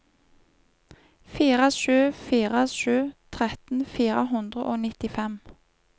fire sju fire sju tretten fire hundre og nittifem